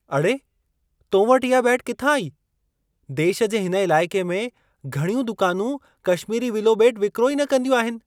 अड़े! तो वटि इहा बेट किथां आई। देश जे हिन इलाइक़े में, घणियूं दुकानूं कशमीरी विलो बेटु विक्रो ई न कंदियूं आहिनि।